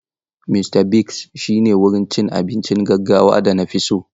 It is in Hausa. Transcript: Mista Bigs shine wurin abincin gaggawan da na fi so.